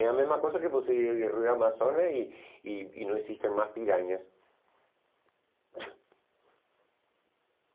É a mesma coisa que você ir no Rio Amazonas e e e não existem mais piranhas.